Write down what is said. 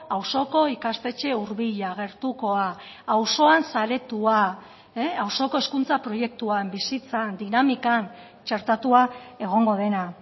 auzoko ikastetxe hurbila gertukoa auzoan saretua auzoko hezkuntza proiektuan bizitzan dinamikan txertatua egongo dena